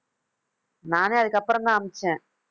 நானே, அதுக்கப்புறம்தான் அனுப்பிச்சேன்